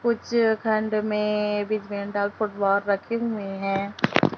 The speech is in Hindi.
कुछ खंड में रखे हुए हैं।